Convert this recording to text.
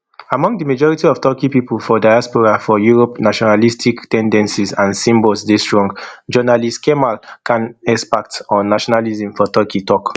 among di majority of turkey pipo for diaspora for europe nationalistic ten dencies and symbols dey strong journalist kemal can expert on nationalism for turkey tok